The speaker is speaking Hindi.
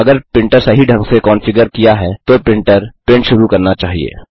अगर प्रिंटर सही ढंग से कॉन्फ़िगर किया है तो प्रिंटर प्रिंट शुरु करना चाहिए